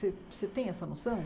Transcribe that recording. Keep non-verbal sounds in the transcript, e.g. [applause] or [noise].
[unintelligible] Você tem essa noção?